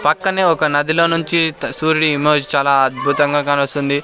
పక్కనే ఒక నదిలో నుంచి త సూర్యుని ఇమేజ్ చాలా అద్భుతంగా కానొస్తుంది.